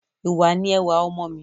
Ìwà ni ẹwà ọmọ mí